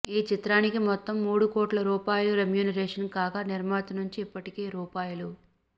ఈ చిత్రానికి మొత్తం మూడు కోట్ల రూపాయలు రెమ్యునేషన్ కాగా నిర్మాత నుంచి ఇప్పటికే రూ